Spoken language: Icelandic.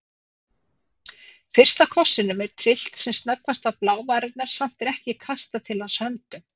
Fyrsta kossinum er tyllt sem snöggvast á blávarirnar, samt er ekki kastað til hans höndum.